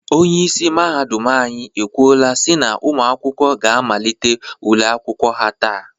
Onyeisi mahadum anyị ekwuola si na ụmụ akwụkwọ ga amalite ule akwụkwọ ha taata.